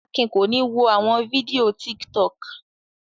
Akin kò ní wo àwọn fídíò Tiktok.